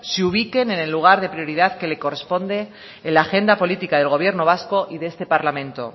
se ubiquen en el lugar de prioridad que le corresponde en la agenda política del gobierno vasco y de este parlamento